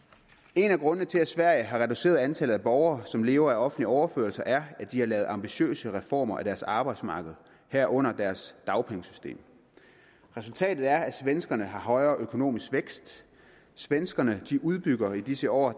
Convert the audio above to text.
en af grundene til at sverige har reduceret antallet af borgere som lever af offentlige overførsler er at de har lavet ambitiøse reformer af deres arbejdsmarked herunder deres dagpengesystem resultatet er at svenskerne har højere økonomisk vækst svenskerne udbygger i disse år